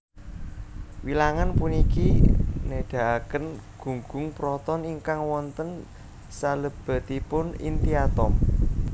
Wilangan puniki nedahaken gunggung proton ingkang wonten salebetipun inti atom